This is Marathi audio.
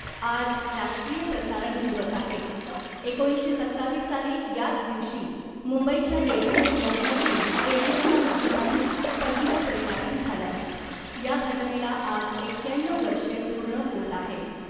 आज राष्ट्रीय प्रसारण दिवस आहे एकोणीसशे सत्तावीस साली याच दिवशी मुंबईच्या रेडिओ क्लबमधून रेडिओच्या माध्यमातून पहिलं प्रसारण झालं या घटनेला आज एक्याण्णव वर्षे पूर्ण होत आहेत .